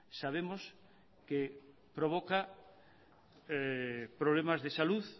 sabemos que provoca problemas de salud